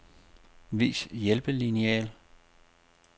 Vis hjælpelineal.